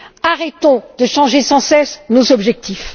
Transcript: Arrêtons de changer sans cesse nos objectifs.